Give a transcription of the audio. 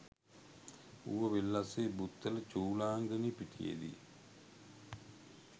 ඌව වෙල්ලස්සේ බුත්තල චූලංගනී පිටියේදී